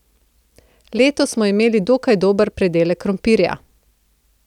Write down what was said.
Letos smo imeli dokaj dober pridelek krompirja.